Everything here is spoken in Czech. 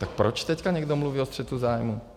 Tak proč teď někdo mluví o střetu zájmů?